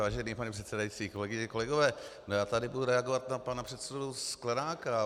Vážený pane předsedající, kolegyně, kolegové, já tady budu reagovat na pana předsedu Sklenáka.